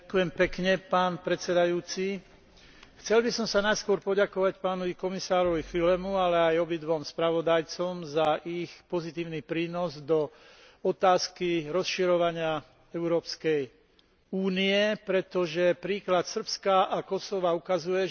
Chcel by som sa najskôr poďakovať pánovi komisárovi Fülemu, ale aj obidvom spravodajcom za ich pozitívny prínos k otázke rozširovania Európskej únie, pretože príklad Srbska a Kosova ukazuje, že táto politika pokračuje a prináša